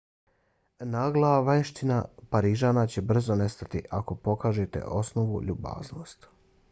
nagla vanjština parižana će brzo nestati ako pokažete osnovnu ljubaznost